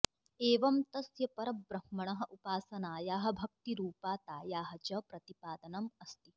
एवं तस्य परब्रह्मणः उपासनायाः भक्तिरूपातायाः च प्रतिपादनम् अस्ति